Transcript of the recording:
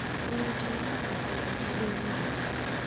miyo cha ibandho pesa gi bengi